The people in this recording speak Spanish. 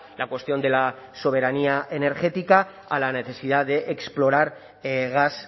la cuestión de la soberanía energética a la necesidad de explorar gas